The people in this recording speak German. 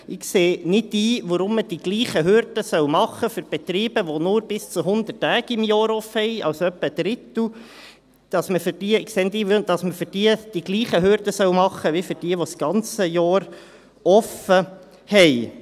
Ich sehe nicht ein, weshalb man die gleichen Hürden für Betriebe machen soll, die nur bis zu 100 Tagen geöffnet sind – also etwa ein Drittel – wie für jene, die das ganze Jahr offen haben.